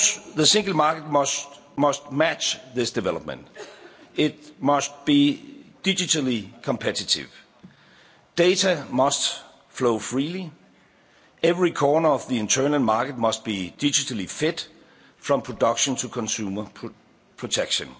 chains. The Single Market must match this development it must be digitally competitive, data must flow freely, every corner of the Internal Market must be digitally fit from production to consumer protection.